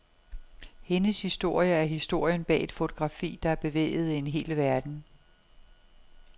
Hendes historie er historien bag et fotografi, der bevægede en hel verden.